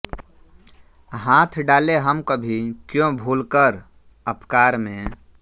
हाथ डालें हम कभी क्यों भूलकर अपकार में